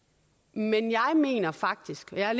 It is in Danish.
men jeg mener faktisk jeg er